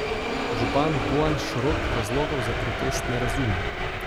Župan Bojan Šrot razlogov za protest ne razume.